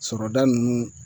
Sɔrɔda ninnu